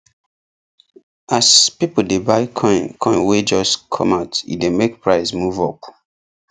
as people dey buy coin coin wey just come out e dey make price move up